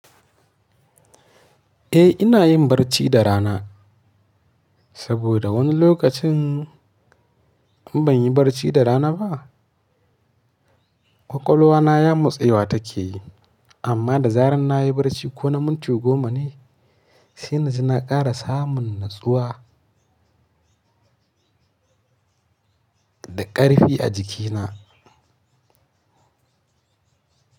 Eh ina yin barci da rana saboda wani lokacin in ban yi barci da rana ba ƙwaƙwalwa na yamotsewa take yi amma da zarar na yi barci ko na minti goma ne sai na ji na ƙara samun natsuwa da ƙarfi a jikina.